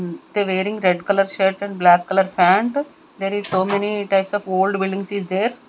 um they wearing red colour shirt and black colour pant there is so many types of old buildings is there.